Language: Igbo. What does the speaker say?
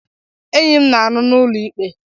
Enyi m na-arụ n'ụlọ ikpe.